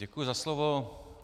Děkuji za slovo.